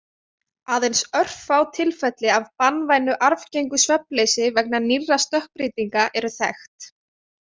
Aðeins örfá tilfelli af banvænu arfgengu svefnleysi vegna nýrra stökkbreytinga eru þekkt.